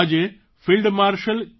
આજે field marshal કે